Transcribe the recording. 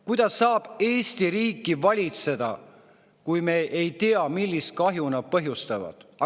Kuidas saab Eesti riiki valitseda, kui me ei tea, millist kahju nad põhjustavad?